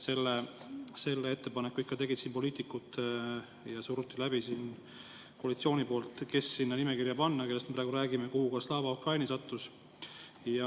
Selle ettepaneku ikka tegid poliitikud ja koalitsioon surus selle läbi, kes panna sinna nimekirja, millest me praegu räägime ja kuhu ka Slava Ukraini sattus.